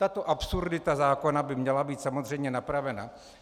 Tato absurdita zákona by měla být samozřejmě napravena.